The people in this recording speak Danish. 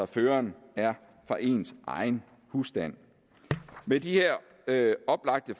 føreren er fra ens egen husstand med de her her oplagte